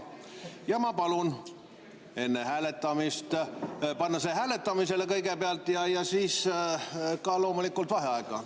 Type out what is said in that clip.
Ja ma palun panna see hääletamisele kõigepealt ja siis ka loomulikult vaheaega.